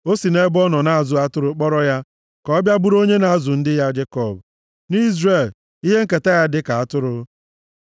o si nʼebe ọ nọ na-azụ atụrụ kpọrọ ya, ka ọ bịa bụrụ onye na-azụ ndị ya Jekọb, na Izrel, ihe nketa ya dịka atụrụ.